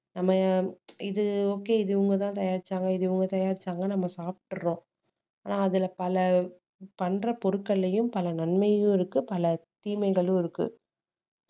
நம்ம இது okay இது இவங்கதான் தயாரிச்சாங்க இது இவங்க தயாரிச்சாங்க நம்ம சாப்பிடறோம் ஆனா அதுல பல பண்ற பொருட்கள்லயும் பல நன்மையும் இருக்கு பல தீமைகளும் இருக்கு